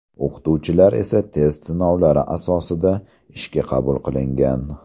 O‘qituvchilar esa test sinovlari asosida ishga qabul qilingan.